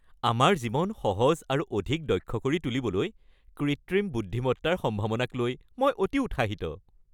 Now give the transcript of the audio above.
আমাৰ জীৱন সহজ আৰু অধিক দক্ষ কৰি তুলিবলৈ কৃত্ৰিম বুদ্ধিমত্তাৰ সম্ভাৱনাক লৈ মই অতি উৎসাহিত।